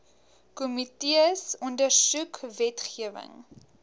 komitees ondersoek wetgewing